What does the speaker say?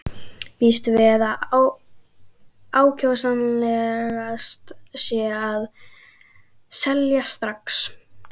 Býst við að ákjósanlegast sé að selja strax.